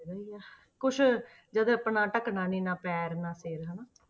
ਹੈਗਾ ਹੀ ਆ ਕੁਛ ਜਦੋਂ ਆਪਣਾ ਢਕਣਾ ਨੀ ਨਾ ਪੈਰ ਨਾ ਸਿਰ ਹਨਾ।